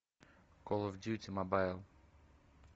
кол оф дьюти мобайл